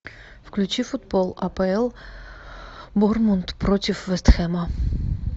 включи футбол апл борнмут против вест хэма